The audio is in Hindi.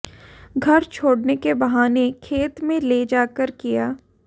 घर छोड़ने के बहाने खेत में ले जाकर किय